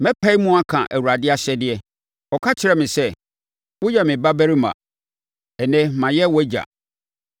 Mɛpae mu aka Awurade ahyɛdeɛ: Ɔka kyerɛɛ me sɛ, “Woyɛ me Babarima; ɛnnɛ mayɛ wʼAgya.